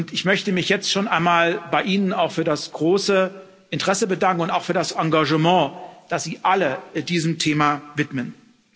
Ich möchte mich jetzt schon einmal bei Ihnen für das große Interesse und auch für das Engagement bedanken, das Sie alle diesem Thema widmen.